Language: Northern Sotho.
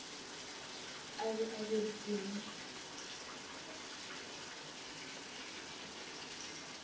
a be a diripe mo